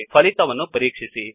ಫಲಿತವನ್ನು ಪರೀಕ್ಷಿಸಿ